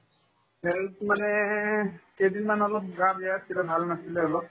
health মানে কেইদিনমান অলপ গা বেয়া আছিলে ভাল নাছিলে অলপ